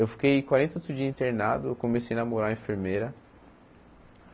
Eu fiquei quarenta e oito dias internado, comecei a namorar a enfermeira.